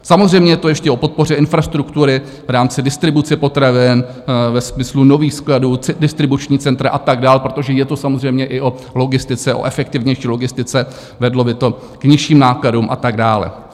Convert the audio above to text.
Samozřejmě je to ještě o podpoře infrastruktury v rámci distribuce potravin ve smyslu nových skladů, distribuční centra a tak dál, protože je to samozřejmě i o logistice, o efektivnější logistice, vedlo by to k nižším nákladům a tak dále.